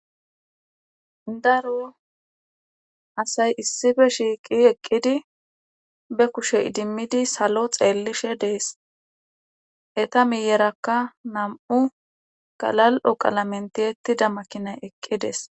daro asay issife shiiqi eqqidi be kushe idimmidi salo xeellishe dees eta miyerakka nam7u galal7o qala menteettida makinay eqqides